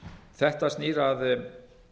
þetta snýr að